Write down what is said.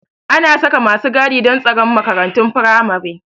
Ana saka masu gadi don tsaron makarantun firamare